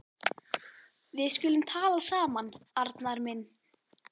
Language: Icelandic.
Við skulum tala saman, Arnar minn.